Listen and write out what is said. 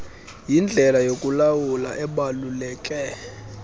yindlela yokulawula ebaluleke